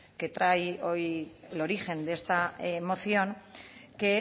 que trae hoy el origen de esta moción que